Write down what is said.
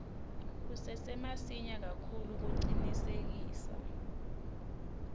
kusesemasinya kakhulu kucinisekisa